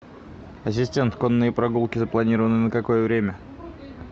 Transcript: ассистент конные прогулки запланированы на какое время